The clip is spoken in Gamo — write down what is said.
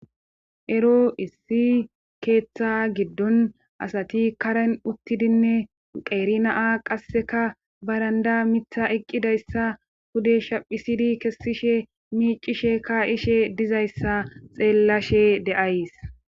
ero issi keeththa giddon asati karen uttidinne qeeri na7a qasseka baranda mitha eqqidayssa pude shaphisidi kessishe miicishe kaa7ishe dizayssa xeellashe de7ays.